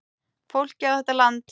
Fólkið á þetta land.